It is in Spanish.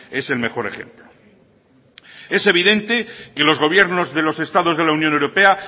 es el mejor ejemplo es evidente que los gobiernos de los estados de la unión europea